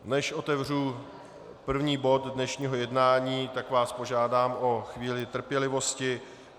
Než otevřu první bod dnešního jednání, tak vás požádám o chvíli trpělivosti.